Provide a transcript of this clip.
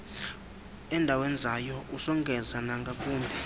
endiwenzayo usongeza nangakumbi